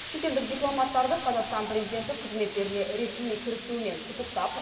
шетелдік дипломаттарды қазақстан президенті қызметтеріне ресми кірісуімен құттықтап